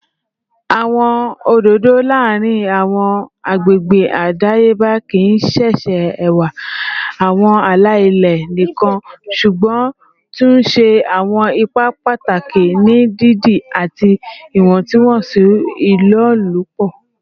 Awọn ododo laarin awọn agbegbe adayeba kii ṣe ṣe ẹwa awọn ala-ilẹ nikan ṣugbọn tun ṣe awọn ipa pataki ni didi ati iwọntunwọnsi ilolupo